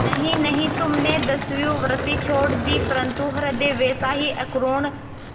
नहीं नहीं तुमने दस्युवृत्ति छोड़ दी परंतु हृदय वैसा ही अकरूण